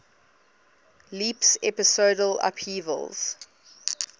leaps episodal upheavals